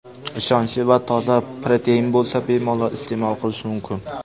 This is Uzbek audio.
Ishonchli va toza protein bo‘lsa, bemalol iste’mol qilish mumkin.